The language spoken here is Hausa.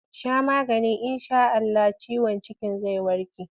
Sha maganin in sha Allah ciwon cikin zai warke!